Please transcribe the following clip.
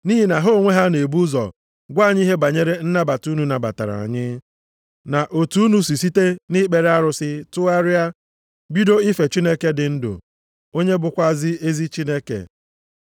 Nʼihi na ha onwe ha na-ebu ụzọ gwa anyị ihe banyere nnabata unu nabatara anyị, na otu unu si site nʼikpere arụsị tụgharịa, bido ife Chineke dị ndụ, onye bụkwa ezi Chineke,